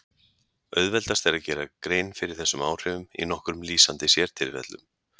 Auðveldast er að gera grein fyrir þessum áhrifum í nokkrum lýsandi sértilfellum.